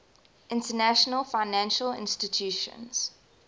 international financial institutions